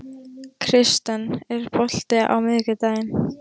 Kirsten, er bolti á miðvikudaginn?